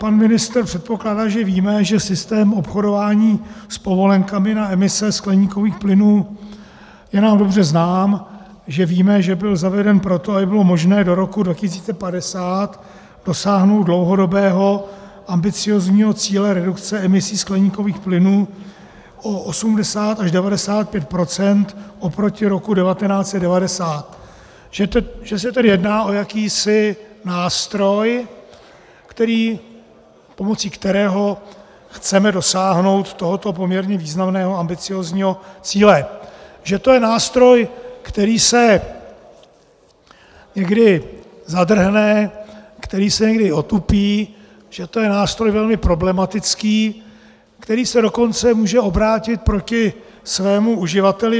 Pan ministr předpokládá, že víme, že systém obchodování s povolenkami na emise skleníkových plynů je nám dobře znám, že víme, že byl zaveden proto, aby bylo možné do roku 2050 dosáhnout dlouhodobého ambiciózního cíle redukce emisí skleníkových plynů o 80 až 95 % oproti roku 1990, že se tedy jedná o jakýsi nástroj, pomocí kterého chceme dosáhnout tohoto poměrně významného ambiciózního cíle, že to je nástroj, který se někdy zadrhne, který se někdy otupí, že to je nástroj velmi problematický, který se dokonce může obrátit proti svému uživateli.